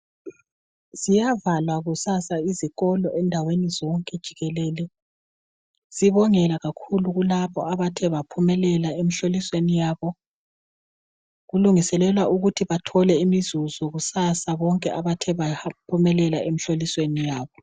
Ziyavalwa kusasa izikolo endaweni zonke jikelele sibongela kakhulu kulabo abathe baphumelela emhlolisweni yabo, kulungiselelwa ukuthi bathole imvuzo kulaba abathe baphumelela emhlolisweni yabo.